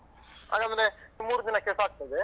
ಆಗಂದ್ರೆ ಮೂರು ದಿನಕ್ಕೆಸ ಆಗ್ತದೆ.